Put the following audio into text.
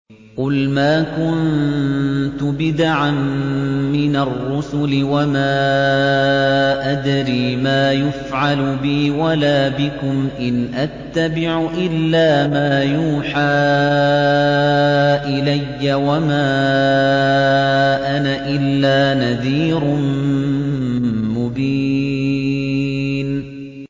قُلْ مَا كُنتُ بِدْعًا مِّنَ الرُّسُلِ وَمَا أَدْرِي مَا يُفْعَلُ بِي وَلَا بِكُمْ ۖ إِنْ أَتَّبِعُ إِلَّا مَا يُوحَىٰ إِلَيَّ وَمَا أَنَا إِلَّا نَذِيرٌ مُّبِينٌ